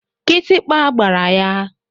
Kịtịkpa gbara ya.